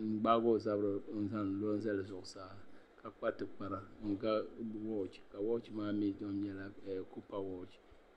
n gbaagi o zabiri n lo n zali zuɣusaa ka kpa tikpara n ga wooch ka wooch maa mii tom nyɛla kupa wooch